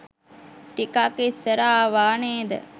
ටිකක් ඉස්සර ආවා නේද?